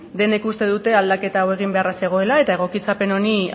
denek uste dute aldaketa hau egin beharra zegoela eta egokitzapen honi